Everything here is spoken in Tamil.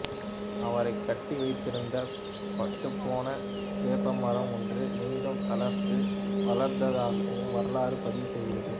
அவரைக் கட்டி வைத்திருந்த பட்டுப்போன வேப்பமரம் ஒன்று மீண்டும் தளிர்த்து வளர்ந்ததாகவும் வரலாறு பதிவு செய்கிறது